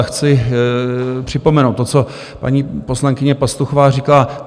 A chci připomenout to, co paní poslankyně Pastuchová říkala.